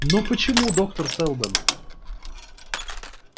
но почему доктор сэлдон